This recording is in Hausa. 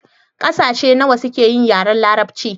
Ƙasashe nawa suke yin yaren larabci?